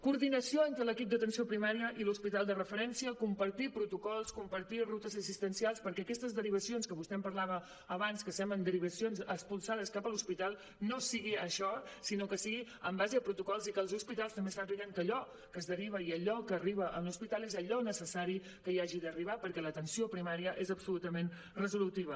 coordinació entre l’equip d’atenció primària i l’hospital de referència compartir protocols compartir rutes assistencials perquè aquestes derivacions que vostè em parlava abans que semblen derivacions expulsades cap a l’hospital no sigui això sinó que sigui en base a protocols i que els hospitals també sàpiguen que allò que es deriva i allò que arriba a un hospital és allò necessari que hi hagi d’arribar perquè l’atenció primària és absolutament resolutiva